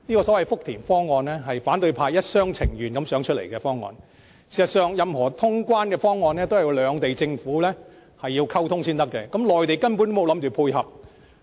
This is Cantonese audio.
這個福田方案是反對派一廂情願想出來的方案，事實上，任何通關方案都要兩地政府溝通才可行，內地政府根本沒打算配合。